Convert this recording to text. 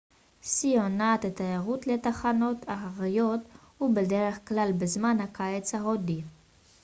שיא עונת התיירות לתחנות ההרריות הוא בדרך כלל בזמן הקיץ ההודי